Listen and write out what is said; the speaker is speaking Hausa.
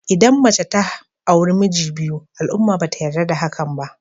Idan mace ta auri miji biyu al'umma ba ta yarda da hakan ba.